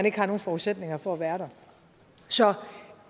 ikke har nogen forudsætninger for at være der så